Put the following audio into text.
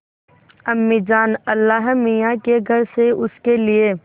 अम्मीजान अल्लाहमियाँ के घर से उसके लिए